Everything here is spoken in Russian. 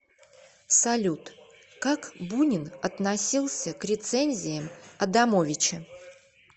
салют как бунин относился к рецензиям адамовича